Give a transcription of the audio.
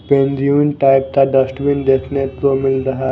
new type का dustbin देखने को मिल रहा--